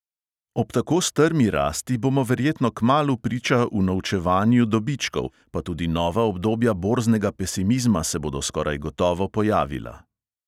Ob tako strmi rasti bomo verjetno kmalu priča unovčevanju dobičkov, pa tudi nova obdobja borznega pesimizma se bodo skoraj gotovo pojavila.